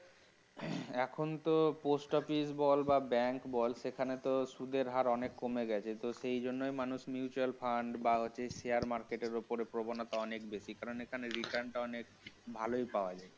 এখনতো post office বল বা bank বল সেখানে তো সুদের হার অনেক কমে গেছে যদি তো সেই জন্যই মানুষ mutual fund বা share market এর ওপর প্রবণতা অনেক বেশি কারণ এখানে return টা অনেক ভালই পাওয়া যায়